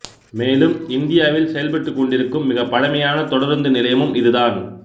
மேலும் இந்தியாவில் செயல்பட்டுக்கொண்டிருக்கும் மிகப் பழமையான தொடருந்து நிலையமும் இதுதான்